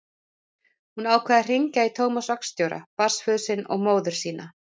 Hún ákvað að hringja í Tómas vaktstjóra, barnsföður sinn og móður sína.